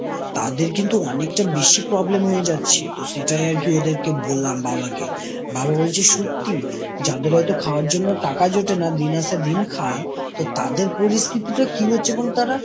তাদের কিন্তু অনেকটা বেশি problem হয়ে যাচ্ছে তো সেটাই আরকি ওদেরকে বললাম বাবাকে। বাবা বলছে সত্যি! যাদের হয়তো খাওয়ার জন্য টাকা জোটে না, দিন আসে দিন খায় তো তাদের পরিস্থিতি টা কি হচ্ছে বলতো তারা?